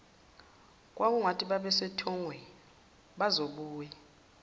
kwakungathi basesithongweni bazobuye